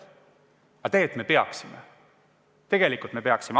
Aga tegelikult me peaksime, tegelikult me peaksime.